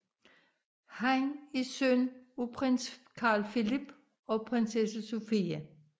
Han er søn af prins Carl Philip og prinsesse Sofia